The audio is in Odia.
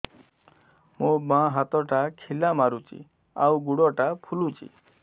ମୋ ବାଆଁ ହାତଟା ଖିଲା ମାରୁଚି ଆଉ ଗୁଡ଼ ଟା ଫୁଲୁଚି